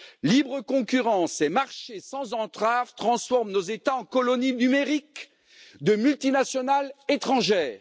Libre concurrence et marché sans entraves transforment nos États en colonies numériques de multinationales étrangères.